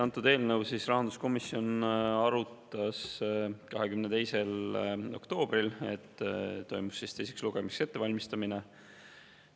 Antud eelnõu arutas rahanduskomisjon 22. oktoobril, kui toimus teiseks lugemiseks ettevalmistamine.